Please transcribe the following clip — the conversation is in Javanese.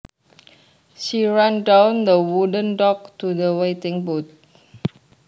She ran down the wooden dock to the waiting boat